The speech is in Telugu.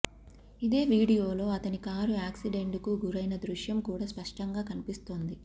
ఇదే వీడియోలో అతని కారు యాక్సిడెంట్ కు గురైన దృశ్యం కూడా స్పష్టంగా కనిపిస్తోంది